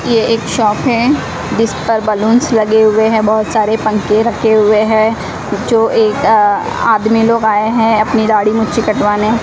ये एक शॉप हैं जिस पर बलूंस लगे हुए हैं बहुत सारे पंखे रखे हुए हैं जो एक आदमी लोग आय है अपनी दाढ़ी मुच्ची कटवाने।